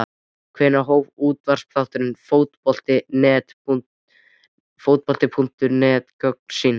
Hvenær hóf útvarpsþátturinn Fótbolti.net göngu sína?